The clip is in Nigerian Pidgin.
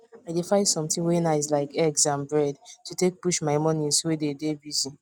i dey find something wae nice like eggs and bread to take push my mornings wey dem dey busy